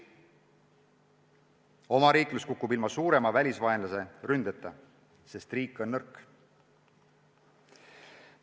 Omariiklus kukub ilma suurema välisvaenlase ründeta, sest riik on nõrk.